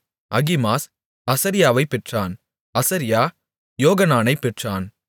அகிமாஸ் அசரியாவைப் பெற்றான் அசரியா யோகனானைப் பெற்றான்